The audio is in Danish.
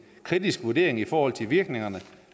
kritisk vurdering i forhold til virkningerne